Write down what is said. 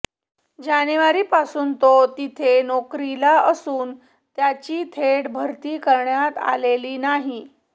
जानेवारीपासून तो तिथे नोकरीला असून त्याची थेट भरती करण्यात आलेली नाही